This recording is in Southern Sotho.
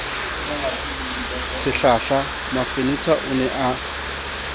sehlahla mafenetha o ne a